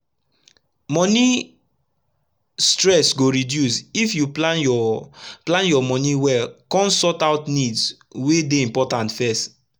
moni stress go reduce if u plan ur plan ur moni well kon sort out needs wey dey important fess